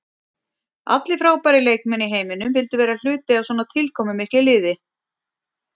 Allir frábærir leikmenn í heiminum vildu vera hluti af svona tilkomumiklu liði.